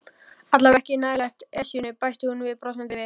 Allavega ekki nálægt Esjunni bætti hún brosandi við.